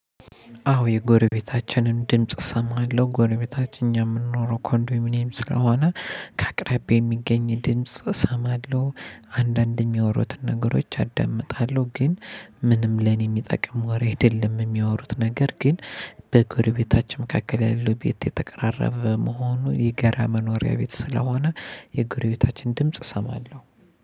አዎ የጎረቤታችንን ድምጽ እሰማለሁ ጎረቤታችን የምንኖረው ኮንዶሚኒየም ስለሆነ ከአቅራቢያ የሚገኝ ድምጽ እሰማለሁ አንዳንድ የሚያወሩትን ነገሮች አዳምጣለሁ። ግን ምንም ለኔ የሚጠቅም ወሬ አይደለም የሚያወሩት ነገር። ግን በጎረቤታችን መካከል ያለው ቤት የተቀራረበ መሆኑን የጋራ መኖሪያ ቤት ስለሆነ የጎረቤታችን ድምጽ እሰማለሁ።